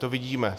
To vidíme.